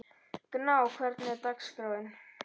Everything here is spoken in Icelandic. Gná, hvernig er dagskráin?